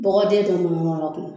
Dɔgɔden tɛ tun mɔgɔra tun.